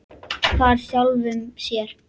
Hvarf sjálfum sér.